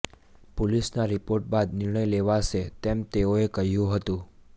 પોલીસના રિપોર્ટ બાદ નિર્ણય લેવાશે તેમ તેઓએ કહ્યું હતું